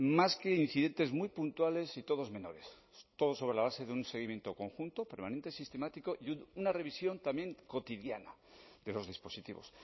más que incidentes muy puntuales y todos menores todo sobre la base de un seguimiento conjunto permanente sistemático y una revisión también cotidiana de los dispositivos